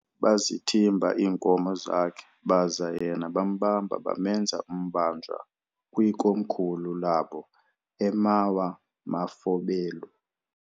Bazithimba iinkomo zakhe, baza yena bambamba bamenza umbanjwa kwikomkhulu labo eMawa-mafobelu.